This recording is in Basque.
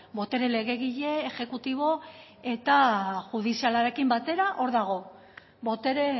botere legegile exekutibo eta judizialarekin batera hor dago botere